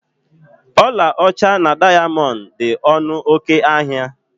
Ọlaọcha na dayamondu dị ọnụ oké ahịa